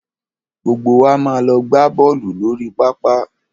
Gbogbo wa máa lọ gbá bọ́ọ̀lù lórí pápá.